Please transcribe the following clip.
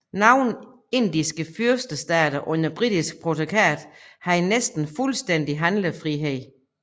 Nogle indiske fyrstestater under britisk protektorat havde næsten fuldstændig handlefrihed